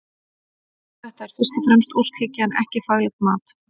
Þetta er fyrst og fremst óskhyggja en ekki faglegt mat.